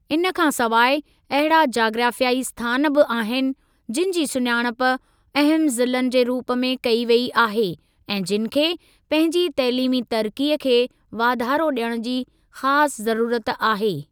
इन खां सवाइ, अहिड़ा जाग्राफ़ियाई स्थान बि आहिनि, जिनि जी सुञाणप अहमु ज़िलनि जे रूप कई वेई आहे ऐं जिनि खे पंहिंजी तइलीमी तरक़ीअ खे वाधारो ॾियण जी ख़ासि ज़रूरत आहे।